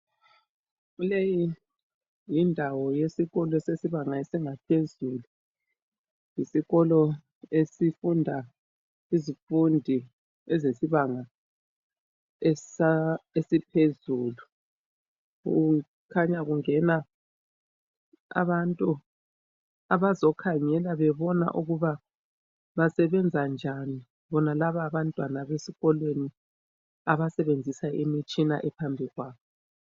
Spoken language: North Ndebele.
Leyi yindawo yesikolo sesibanga esiingaphezulu isikolo lesi sifunda izifundi ezesibanga esiphezulu kukhanya kungena abantu abazokhangela bezobona ukuthi basebenza njani bonalabo abantwa besikolweni abasebenzisa imitshina ephambikwabo.